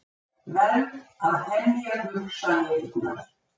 Verð að hemja hugsanirnar.